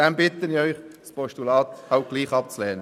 Deshalb bitte ich Sie halt, das Postulat trotzdem abzulehnen.